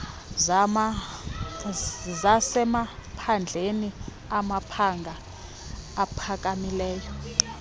zasemaphandleni amabanga aphakamileyo